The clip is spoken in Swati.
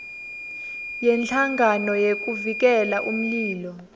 yenhlangano yekuvikela umlilo